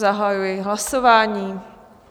Zahajuji hlasování.